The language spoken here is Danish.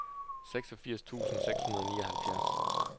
seksogfirs tusind seks hundrede og nioghalvfjerds